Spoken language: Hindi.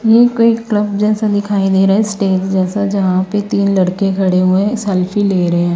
यह कोई क्लब जैसा दिखाई दे रहा है स्टेज जैसा जहां पर तीन लड़के खड़े है। सेल्फी ले रहे हैं।